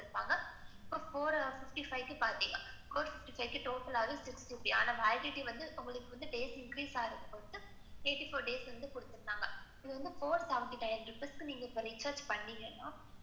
Four fifty five வுக்கு பார்த்தீங்கன்னா, four fifty fivetotal six GB, ஆனா, validity பாத்தீங்கன்னா, உங்களுக்கு date increase ஆறதுக்கு eighty four days வந்து குடுத்துருக்காங்க. இது வந்துட்டு, four seventy five rupees க்கு பண்ணிணீங்கன்னா,